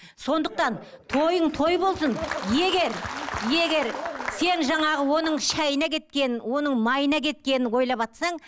сондықтан тойың той болсын егер егер сен жаңағы оның шайына кеткен оның майына кеткенін ойлаватсаң